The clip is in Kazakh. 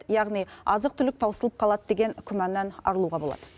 яғни азық түлік таусылып қалады деген күмәннан арылуға болады